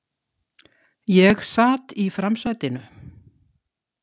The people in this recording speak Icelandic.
Ég sat í framsætinu.